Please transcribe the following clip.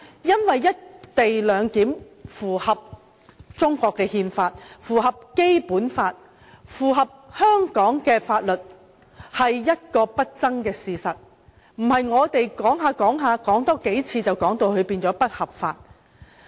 "一地兩檢"符合中國憲法、符合《基本法》及符合香港法律，這是不爭事實，並非我們多說數遍，它就會變成不合法。